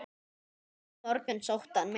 Næsta morgun sótti hann mig.